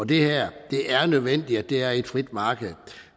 det er nødvendigt at det er et frit marked